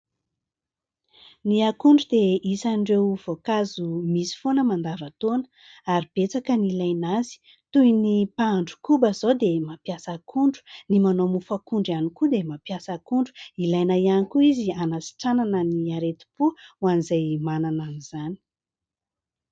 Ny akondro dia isan'ireo voankazo misy foana mandavantaona ary betsaka ny ilaina azy, toy ny : mpahandro koba izao dia mampiasa akondro, ny manao mofo akondro ihany koa dia mampiasa akondro, ilaina ihany koa izy anasitranana ny aretim-po ho an'izay manana an'izany.